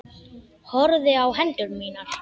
Horfði á hendur mínar.